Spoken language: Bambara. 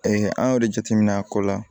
an y'o de jateminɛ a ko la